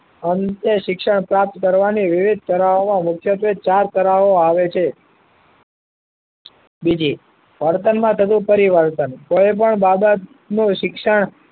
અંતે શિક્ષણ પ્રાપ્ત કરવાની વિવિધ કલાઓ માં મુખ્યત્વે ચાર કલાઓ આવે છે બીજી વર્તનમાં થતું પરિવર્તન કોઈ પણ બાબત નું શિક્ષણ